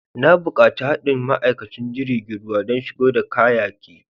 N'na bukatan haɗi da ma'aikaci jirigin ruwa dan shigo da kayaki.